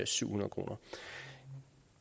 syvhundrede kroner